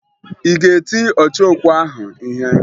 Ị ga-eti ọchọokwu ahụ ihe?